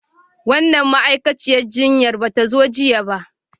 Wannan ma'aikaciyar jinya ba ta zo jiya ba.